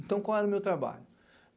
Então, qual era o meu trabalho?